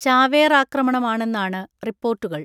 ചാവേറാക്രമണമാണെന്നാണ് റിപ്പോർട്ടുകൾ.